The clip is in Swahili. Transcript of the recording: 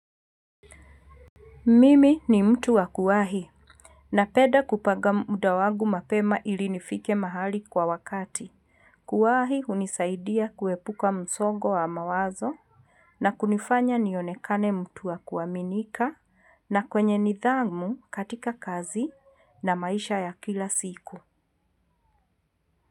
Mimi ni mtu wa kuwahi napenda kupanga muda wangu mapema ili nifike mahali kwa wakati. Kuwahi hunisaidia kuepuka msongo wa mawazo na kunifanya nionekane mtu wa kuaminika na mwenye nidhamu katika kazi na maisha ya kila siku.